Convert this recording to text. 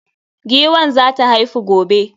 Giwan za ta haifu gobe.